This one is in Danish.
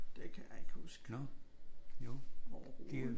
Det kan jeg ikke huske. Overhovedet